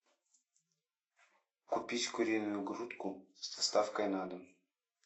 купить куриную грудку с доставкой на дом